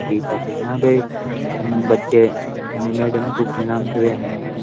Teacher है यहाँ पे बच्चे मैडम को प्रणाम कर रहे हैं।